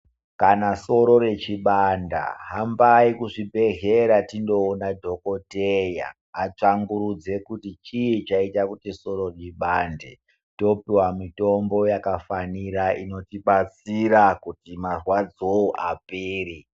Kana soro rechibanda hambai kuzvibhedhlera tindoona dhokoteya atsvangurudze kuti chii chaita kuti soro ribande. Topihwa mitombo yakafanira inotibatdsira kuti marwadzo apere.